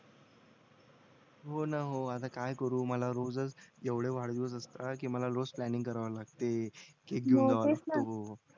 हो ना हो आता काय करू मला रोजच एवढं वाढदिवस असतात की मला रोज प्लांनिंग करावे लागते केक घेऊन जावं लागतो